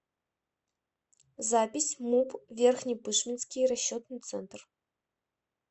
запись муп верхнепышминский расчетный центр